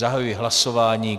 Zahajuji hlasování.